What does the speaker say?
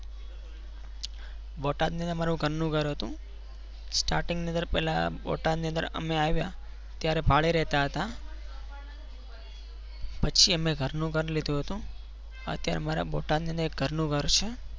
બોટાદ ની અંદર અમારે ઘરનું ઘર હતું. starting ની અંદર પહેલા બોટાદથી અંદર અમે આવ્યા ત્યારે ભાડે રહેતા હતા પછી અમે ઘરનું ઘર લીધું હતું. અત્યારે અમારે બોટાદ ની અંદર ઘરનું ઘર છે,